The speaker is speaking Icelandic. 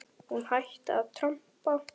Hún hætti að trampa.